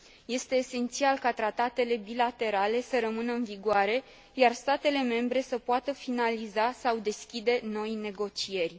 Este esențial ca tratatele bilaterale să rămână în vigoare, iar statele membre să poată finaliza sau deschide noi negocieri.